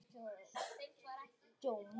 Nítján létust.